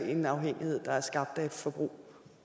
en afhængighed der er skabt af et forbrug